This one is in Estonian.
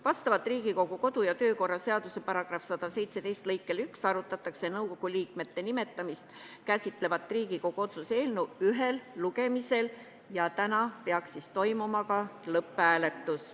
Vastavalt Riigikogu kodu- ja töökorra seaduse § 117 lõikele 1 arutatakse nõukogu liikmete nimetamist käsitlevat Riigikogu otsuse eelnõu ühel lugemisel ja täna peaks toimuma ka lõpphääletus.